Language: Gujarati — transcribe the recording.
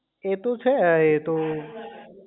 એતો છે એતો